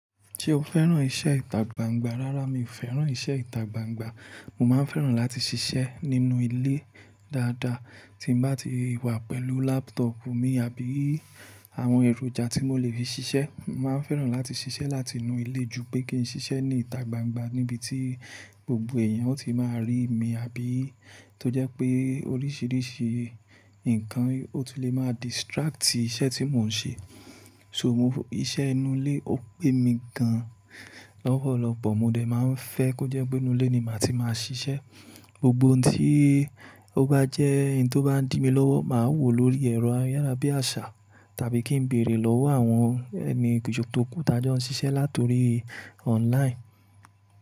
Ṣé o fẹ́ràn iṣẹ́ ìtagbangba? Rárá, mi ò fẹ́ràn iṣẹ́ ìtagbangba. Mo máa ń fẹ́ràn láti ṣiṣẹ́ nínú ilé dáadáa. Tí n bá ti wà pẹ̀lú laptop mi àbí àwọn èròjà tí mo lè fi ṣiṣẹ́, mo màá ń fẹ́ràn láti ṣiṣẹ́ láti inú ilé ju pé kí n ṣiṣẹ́ ní ìta gbangba níbi tí gbogbo ẹ̀eyàn ó ti máa rí mi, àbí tó jẹ́ pé oríṣiríṣi nǹkan ó ti lè máa distract iṣẹ́ tí mò ń ṣe. So, iṣẹ́ inú ilé ó pè mi gan lọ́pọ̀lọpọ̀, mo dẹ̀ máa ń fẹ́ kó jẹ́ pé inú ilé ni màá ti máa ṣiṣẹ́. Gbogbo ohun tí ó bá jẹ́ in tó bá ń dí mi lọ́wọ́, màá wò lórí ẹ̀rọ ayárabíàṣá tàbí kí n bèèrè lọ́wọ́ àwọn ẹni kùjú tokú ta jó ń ṣiṣẹ́ láti orí online.